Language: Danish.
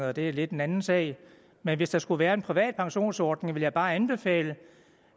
og det er lidt en anden sag men hvis der skulle være en privat pensionsordning vil jeg bare anbefale